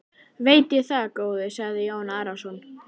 Veit ég það góði, sagði Jón Arason.